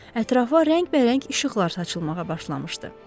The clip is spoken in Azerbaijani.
Ətrafa rəngbərəng işıqlar saçılmağa başlanmışdı.